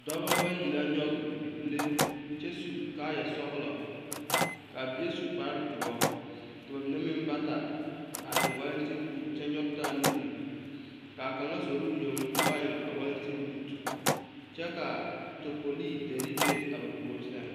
Dɔba bayi la nyɔge a bibile kyɛ su kaaya sɔglɔ ka a bie su kpare doɔ ka ba mine meŋ ba ta a eŋ walanteŋ buutekyɛ nyɔge taa nuuri ka a kaŋa zoro o yoŋ a ba eŋ a walanteŋ buute kyɛ ka tapolii dere be a ba puori sɛŋ.